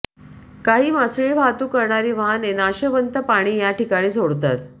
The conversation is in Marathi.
काही मासळी वाहतूक करणारी वाहने नाशवंत पाणी याठिकाणी सोडतात